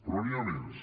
però n’hi ha més